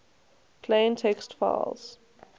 plain text files